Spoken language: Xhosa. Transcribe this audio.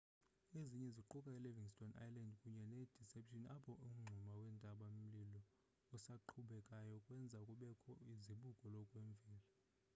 ezinye ziquka i-livingston island kunye ne-deception apho umngxuma wentaba-mlilo esaqhubekayo wenza kubekho izibuko lokwemvelo